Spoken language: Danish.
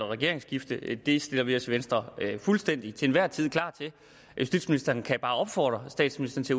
regeringsskifte det stiller vi os i venstre fuldstændig og til enhver tid klar til justitsministeren kan bare opfordre statsministeren til